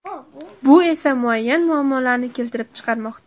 Bu esa muayyan muammolarni keltirib chiqarmoqda.